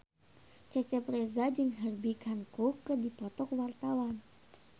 Cecep Reza jeung Herbie Hancock keur dipoto ku wartawan